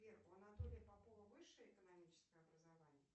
сбер у анатолия попова высшее экономическое образование